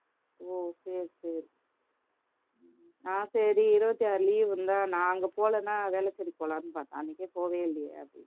ஓ சரி சரி நான் சரி இருபத்தி ஆறு leave இருந்தா நான் அங்க போலன்னா வேளச்சேரி போலான்னு பார்த்தேன் அன்னைக்கே போகவே இல்லையே அப்பிடின்னு